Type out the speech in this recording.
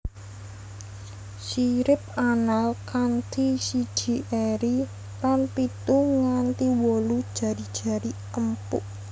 Sirip anal kanthi siji eri lan pitu nganti wolu jari jari empuk